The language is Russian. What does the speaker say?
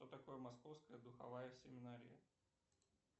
что такое московская духовая семинария